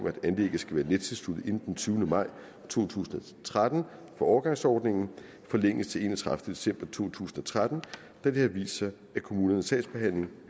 at anlægget skal være nettilsluttet inden den tyvende maj to tusind og tretten for overgangsordningen forlænges til den enogtredivete december to tusind og tretten da det har vist sig at kommunernes sagsbehandling